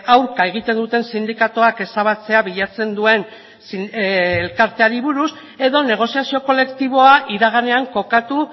aurka egiten duten sindikatuak ezabatzea bilatzen duen elkarteari buruz edo negoziazio kolektiboa iraganean kokatu